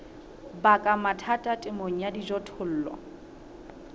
baka mathata temong ya dijothollo